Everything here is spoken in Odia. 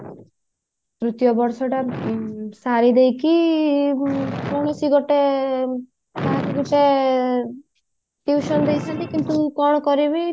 ତୃତୀୟ ବର୍ଷ ଟା ସାରିଦେଇକି କୌଣସି ଗୋଟେ ଦେଇଥାନ୍ତି କିନ୍ତୁ କଣ କରିବି